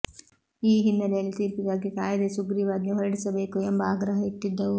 ಈ ಹಿನ್ನೆಲೆಯಲ್ಲಿ ತೀರ್ಪಿಗಾಗಿ ಕಾಯದೇ ಸುಗ್ರೀವಾಜ್ಞೆ ಹೊರಡಿಸಬೇಕು ಎಂಬ ಆಗ್ರಹ ಇಟ್ಟಿದ್ದವು